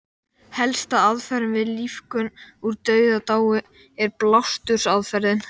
Helsta aðferðin við lífgun úr dauðadái er blástursaðferðin.